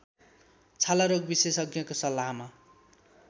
छालारोग विशेषज्ञको सल्लाहमा